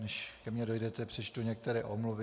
Než ke mně dojdete, přečtu některé omluvy.